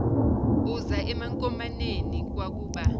uza emankomaneni kwakuba